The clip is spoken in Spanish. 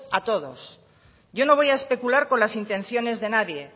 a todo yo no voy a especular con las intenciones de nadie